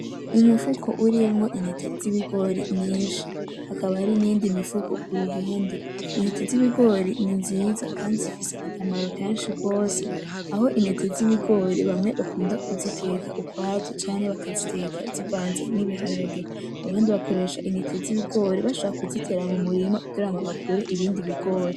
Umufuko urimwo intete z'ibigori nyinshi hakaba hari n'iyindi mifuko kuruhande, intete z'ibigori ni nziza kandi zifise akamaro kenshi gose, aho intete z'ibigori bamwe bakunda kuziteka ukwazo canke bakaziteka zivanze n'ibiharage, abandi bakoresha intete z'ibigori bashobora kuzitera mu murima kugira ngo hakure ibindi bigori.